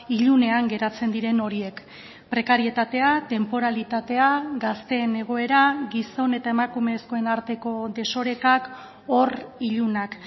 ilunean geratzen diren horiek prekarietatea tenporalitatea gazteen egoera gizon eta emakumezkoen arteko desorekak hor ilunak